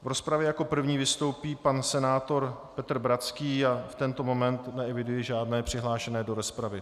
V rozpravě jako první vystoupí pan senátor Petr Bratský a v tento moment neeviduji žádné přihlášené do rozpravy.